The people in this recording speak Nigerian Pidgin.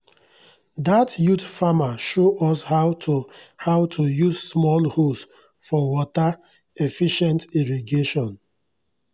dat youth farmer show us how to how to use small hose for water-efficient irrigation